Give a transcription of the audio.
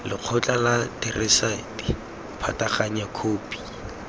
lekgotla la therasete pataganya khopi